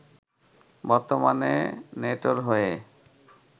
বর্তমানে নেটোর হয়ে